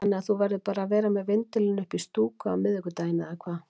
Þannig að þú verður bara með vindilinn uppi í stúku á miðvikudaginn eða hvað?